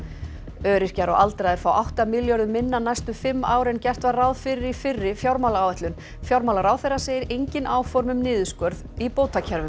öryrkjar og aldraðir fá átta milljörðum minna næstu fimm ár en gert var ráð fyrir í fyrri fjármálaáætlun fjármálaráðherra segir engin áform um niðurskurð í bótakerfum